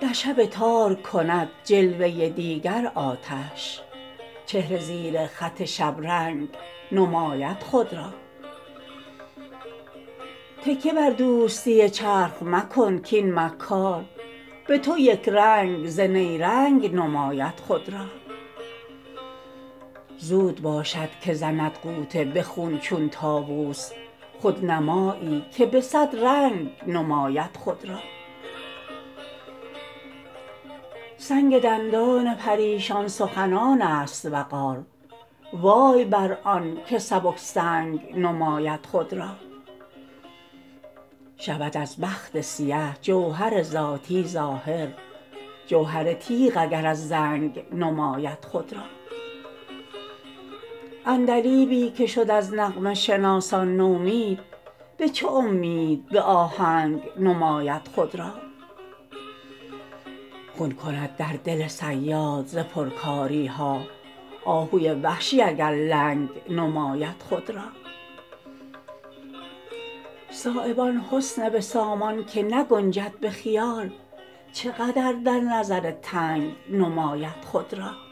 در شب تار کند جلوه دیگر آتش چهره زیر خط شبرنگ نماید خود را تکیه بر دوستی چرخ مکن کاین مکار به تو یکرنگ ز نیرنگ نماید خود را زود باشد که زند غوطه به خون چون طاوس خودنمایی که به صد رنگ نماید خود را سنگ دندان پریشان سخنان است وقار وای بر آن که سبک سنگ نماید خود را شود از بخت سیه جوهر ذاتی ظاهر جوهر تیغ اگر از زنگ نماید خود را عندلیبی که شد از نغمه شناسان نومید به چه امید به آهنگ نماید خود را خون کند در دل صیاد ز پرکاری ها آهوی وحشی اگر لنگ نماید خود را صایب آن حسن به سامان که نگنجد به خیال چه قدر در نظر تنگ نماید خود را